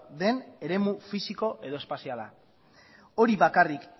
den eremu fisiko edo espaziala hori bakarrik